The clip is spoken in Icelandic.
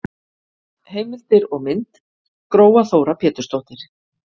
Heimildir og mynd: Gróa Þóra Pétursdóttir.